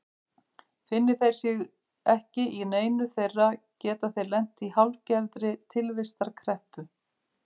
Finni þeir sig ekki í neinu þeirra geta þeir lent í hálfgerðri tilvistarkreppu.